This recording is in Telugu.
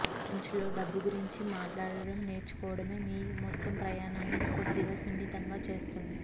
ఫ్రెంచ్లో డబ్బు గురించి మాట్లాడటం నేర్చుకోవడమే మీ మొత్తం ప్రయాణాన్ని కొద్దిగా సున్నితంగా చేస్తుంది